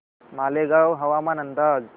मालेगाव हवामान अंदाज